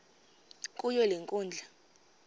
kuyo le nkundla